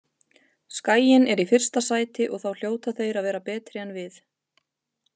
Skaginn er í fyrsta sæti og þá hljóta þeir að vera betri en við.